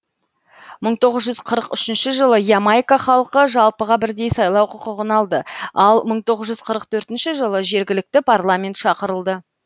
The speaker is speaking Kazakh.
мың тоғыз жүз қырық үшінші жылы ямайка халқы жалпыға бірдей сайлау құқығын алды ал мың тоғыз жүз қырық төртінші жылы жергілікті парламент шақырылды